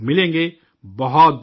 بہت بہت شکریہ